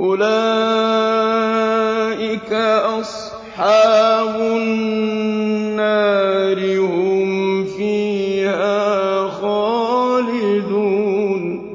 أُولَٰئِكَ أَصْحَابُ النَّارِ ۖ هُمْ فِيهَا خَالِدُونَ